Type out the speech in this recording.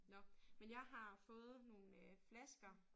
Nåh men jeg har fået nogle øh flasker